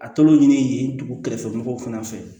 A tɔlo ɲini yen dugu kɛrɛfɛmɔgɔw fana fɛ